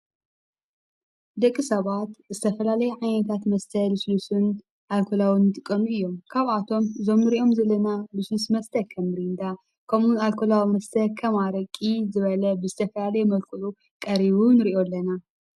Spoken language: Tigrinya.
ደቂ ሰባት እዝተፈላለይ ዓይነታት መስተልስሉስን ኣልኮላውን ትቐም እዮም ካብ ኣቶም ዞሚ ርእኦም ዝለና ብሱንስ መስተከም ሪንዳ ከምኡ ኣልኮላዎ ምስተከምርቂ ዝበለ ብስተፈያለ የመልክሉ ቀሪቡን ንርእዮ ኣለና።